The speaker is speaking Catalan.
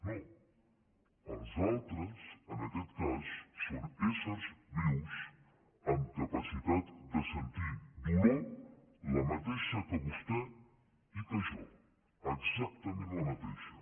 no els altres en aquest cas són éssers vius amb capacitat de sentir dolor la mateixa que vostè i que jo exactament la mateixa